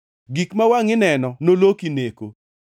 Gik ma wangʼi neno noloki neko.